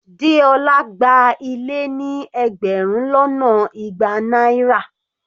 Deola gba ilé ní ẹgbẹrun lọ́nà igba náírà.